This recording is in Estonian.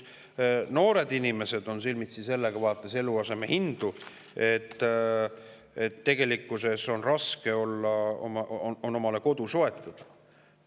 Noored inimesed on silmitsi sellega, vaadates eluaseme hindu, et neil on pigem raske omale kodu soetada.